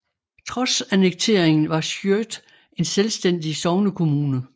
Trods annekteringen var Skjød en selvstændig sognekommune